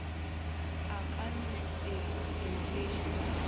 a ka no se diriše